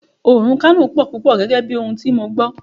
Oòrùn Kano pò púpò gẹ́gẹ́ bí ohun tí mo gbó.